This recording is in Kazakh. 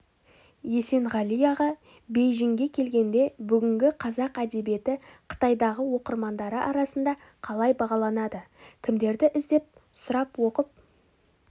есенғали аға бейжіңге келгенде бүгінгі қазақ әдебиеті қытайдағы оқырмандары арасында қалай бағаланады кімдерді іздеп сұрап оқып